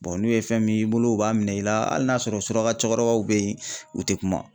n'u ye fɛn min bolo u b'a minɛ i la, hali n'a y'a sɔrɔ suraka cɛkɔrɔbaw be yen ,u te kuma!